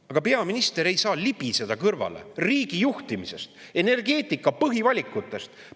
Aga peaminister ei saa libiseda kõrvale riigi juhtimisest, energeetika põhivalikutest.